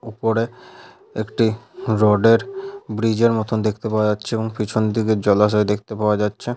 ওপরে একটি রড -এর ব্রিজ -এর মতো দেখতে পাওয়া যাচ্ছে এবং পিছন দিকে জলাশয় দেখতে পাওয়া যাচ্ছে--